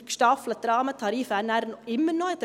Der gestaffelte Rahmentarif bestünde dann immer noch.